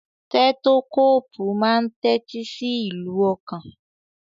Tẹ́tókóòpù máa ń tẹ́tí sí ìlù ọkàn.